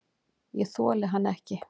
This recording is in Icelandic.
Ég þoli hann ekki.